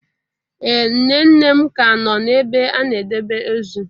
Ee nne nne m ka nọ n'ebe a na-edebe ozu.